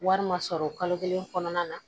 Wari ma sɔrɔ kalo kelen kɔnɔna na